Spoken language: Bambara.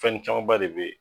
Fɛn camanba de be yen